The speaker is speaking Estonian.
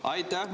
Aitäh!